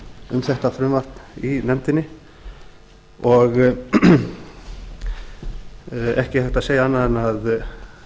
um þetta frumvarp í nefndinni og ekki er hægt að segja annað en